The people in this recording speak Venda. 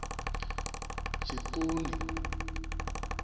tshiṱuni